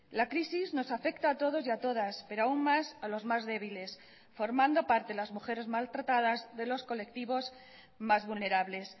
la crisis nos afecta a todos y a todas pero aún más a los más débiles formando parte las mujeres maltratadas de los colectivos más vulnerables